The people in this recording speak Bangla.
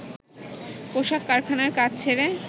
পোশাক কারখানার কাজ ছেড়ে